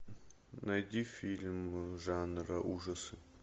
найди фильм жанра ужасы